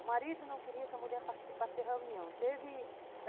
O marido não queria que a mulher participasse da reunião, teve